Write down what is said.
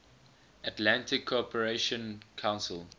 atlantic cooperation council